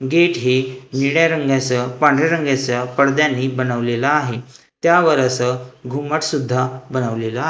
gate हे निळ्या रंगाचं पांढऱ्या रंगाचं पडद्यांनी बनवलेलं आहे त्यावर असं घुमट सुद्धा बनवलेला --